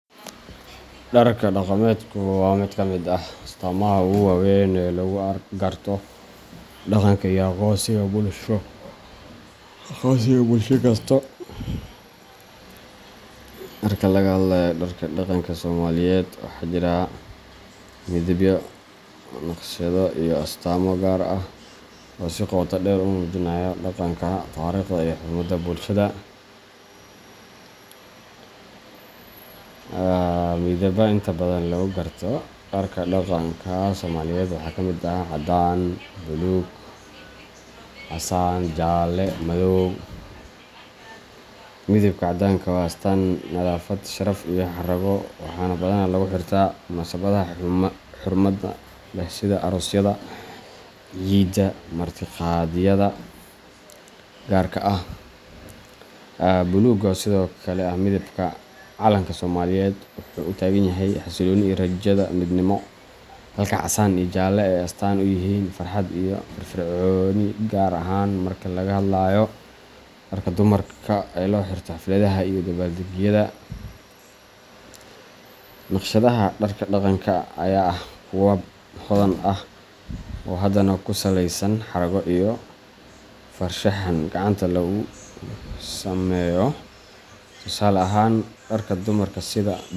Dharka dhaqameedku waa mid ka mid ah astaamaha ugu waaweyn ee lagu garto dhaqanka iyo aqoonsiga bulsho kasta. Marka laga hadlayo dharka dhaqanka Soomaaliyeed, waxaa jira midabyo, naqshado, iyo astaamo gaar ah oo si qoto dheer u muujinaya dhaqanka, taariikhda, iyo xurmada bulshada. Midabada inta badan lagu garto dharka dhaqanka Soomaaliyeed waxaa ka mid ah caddaan, buluug, casaan, jaalle, iyo madow. Midabka caddaanku waa astaan nadaafad, sharaf, iyo xarrago, waxaana badanaa lagu xirtaa munaasabadaha xurmada leh sida aroosyada, ciida, ama martiqaadyada gaarka ah. Buluuggu, oo sidoo kale ah midabka calanka Soomaaliyeed, wuxuu u taagan yahay xasillooni iyo rajada midnimo, halka casaan iyo jaalle ay astaan u yihiin farxad iyo firfircooni gaar ahaan marka laga hadlayo dharka dumarka ee loo xirto xafladaha iyo dabbaaldegyada. Naqshadaha dharka dhaqanka ayaa ah kuwo hodan ah oo badanaa ku saleysan xarago iyo farshaxan gacanta lagu sameeyo. Tusaale ahaan, dharka dumarka sida.